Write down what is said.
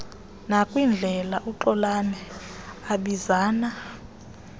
nakwindlela uxolani abizana